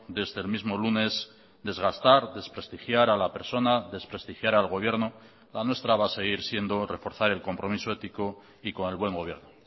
desde el mismo lunes desgastar desprestigiar a la persona desprestigiar al gobierno la nuestra va a seguir siendo reforzar el compromiso ético y con el buen gobierno